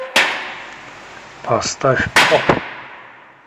поставь поп